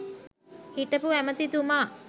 හිටපු ඇමැතිතුමා